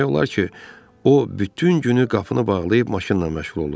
Demək olar ki, o bütün günü qapını bağlayıb maşınla məşğul olurdu.